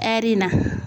Ɛri in na